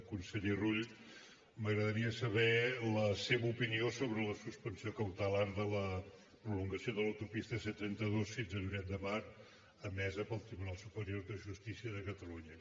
conseller rull m’agradaria saber la seva opinió sobre la suspensió cautelar de la prolongació de l’autopista c trenta dos fins a lloret de mar emesa pel tribunal superior de justícia de catalunya